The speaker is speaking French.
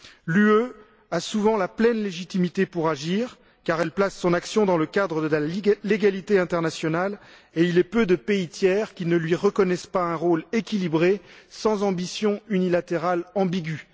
L'Union européenne a souvent la pleine légitimité pour agir, car elle place son action dans le cadre de la légalité internationale, et il est peu de pays tiers qui ne lui reconnaissent pas un rôle équilibré sans ambition unilatérale ambigüe.